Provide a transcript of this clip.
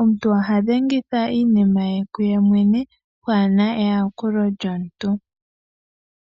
omunyu oha dhengitha iinima ye kuyemwene pwaana ryakulo lyomuntu.